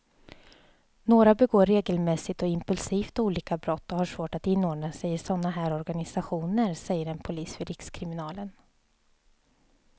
Några begår regelmässigt och impulsivt olika brott och har svårt att inordna sig i såna här organisationer, säger en polis vid rikskriminalen.